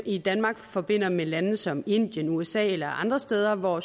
i danmark forbandt med lande som indien usa eller andre steder hvor